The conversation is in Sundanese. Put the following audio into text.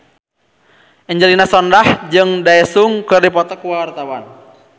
Angelina Sondakh jeung Daesung keur dipoto ku wartawan